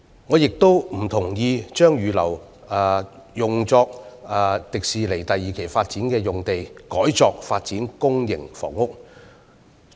我亦不贊同把預留作香港迪士尼樂園第二期發展的用地改作發展公營房屋。